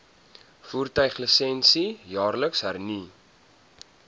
voertuiglisensie jaarliks hernu